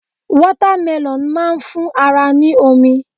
Wọ́támẹlọ̀n má ń fún ara ní omi